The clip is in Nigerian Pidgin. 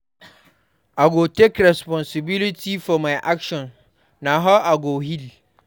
I go take responsibility for my actions; na how I go heal.